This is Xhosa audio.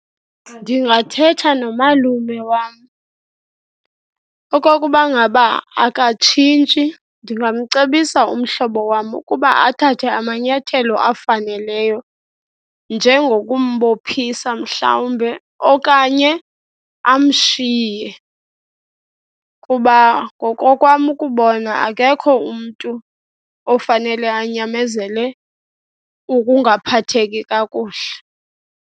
Ndingathetha nomalume wam. Okokuba ngaba akatshintshi, ndingamcebisa umhlobo wam ukuba athathe amanyathelo afaneleyo, njengokumbophisa mhlawumbe okanye amshiye. Kuba ngokokwam ukubona akekho umntu ofanele anyamezele ukungaphatheki kakuhle.